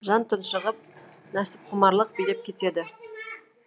жан тұншығып нәпсіқұмарлық билеп кетеді